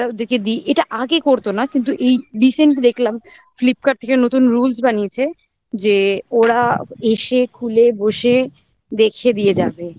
আমরা ওদেরকে দিই এটা আগে করতো না কিন্তু এই recent দেখলাম flipkart থেকে নতুন rules বানিয়েছে যে ওরা এসে খুলে বসে দেখিয়ে দিয়ে যাবে